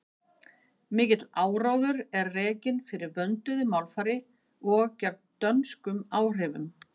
Mikill áróður var rekinn fyrir vönduðu málfari og gegn dönskum áhrifum.